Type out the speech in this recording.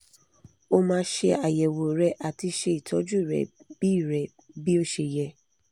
o ma se ayewo re ati se itoju re bi re bi o se ye